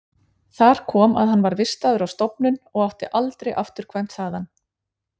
Þar kom að hann var vistaður á stofnun og átti aldrei afturkvæmt þaðan.